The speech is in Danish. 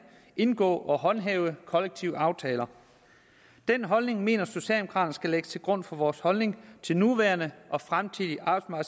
indgå og håndhæve kollektive aftaler den holdning mener socialdemokraterne skal ligge til grund for vores holdning til nuværende og fremtidige